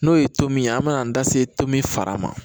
N'o ye tomi ye an mɛna an da se to min fara ma